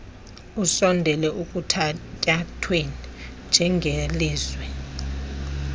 usondele ekuthatyathweni njengelizwe